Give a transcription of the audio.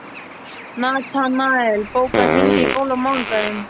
Natanael, bókaðu hring í golf á mánudaginn.